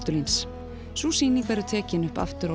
postulíns sú sýning verður tekin upp aftur